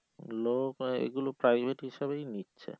লোক এগুলো private হিসাবেই নিচ্ছে